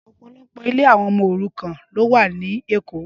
Ọpọlọpọ ilé awọn ọmọ órùkàn lò wà ni Ékó